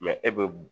e be